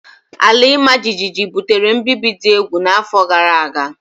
Ala imajiji butere mbibi dị egwu n'afọ gara aga.